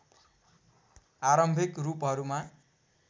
आरम्भिक रूपहरूमा